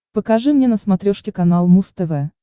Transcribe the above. покажи мне на смотрешке канал муз тв